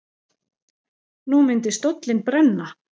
Nú myndi stóllinn brenna.